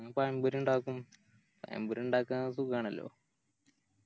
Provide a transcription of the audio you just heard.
പിന്നെ പയം പൊരി ഇണ്ടാക്കും പയം പൊരി ഇണ്ടാക്കാൻ സുഖാണല്ലോ